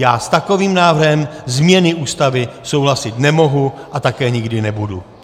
Já s takovým návrhem změny Ústavy souhlasit nemohu a také nikdy nebudu.